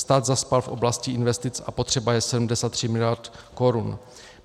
Stát zaspal v oblasti investic a potřeba je 73 miliard korun.